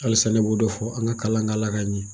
Halisa ne b'o de fɔ, an ka kalan kɛ Ala ka ɲɛ